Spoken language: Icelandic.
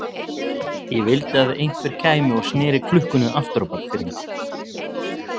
Ég vildi að einhver kæmi og sneri klukkunni aftur á bak fyrir mig.